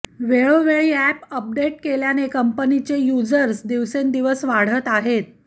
वेळोवेळी app update केल्याने कंपनीचे युजर्स दिवसेंदिवस वाढत आहेत